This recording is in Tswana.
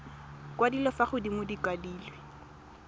kwadilwe fa godimo di kwadilwe